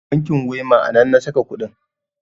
bankin wema a nan na saka kuɗin